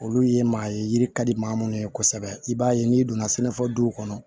Olu ye maa ye yiri ka di maa minnu ye kosɛbɛ i b'a ye n'i donna sɛnɛ fɔ duw kɔnɔ